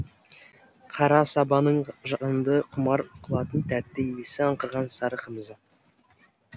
қара сабаның жанды құмар қылатын тәтті иісі аңқыған сары қымызы